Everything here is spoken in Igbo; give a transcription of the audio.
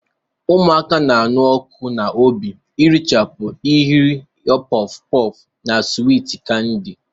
Ụmụaka na-anụ ọkụ n'obi irichapụ nhịahụ porff porff na swiiti kandi.